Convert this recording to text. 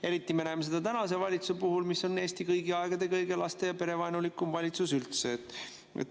Eriti me näeme seda tänase valitsuse puhul, mis on Eesti kõigi aegade kõige laste‑ ja perevaenulikum valitsus üldse.